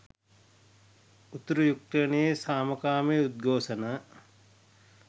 උතුරු යුක්රේනයේ සාමකාමී උද්ඝෝෂණ